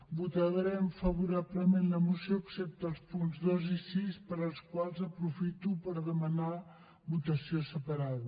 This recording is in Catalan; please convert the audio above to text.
votarem favorablement la moció excepte als punts dos i sis per als quals aprofito per demanar votació separada